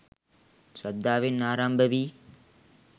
ශ්‍රද්ධාවෙන් ආරම්භ වී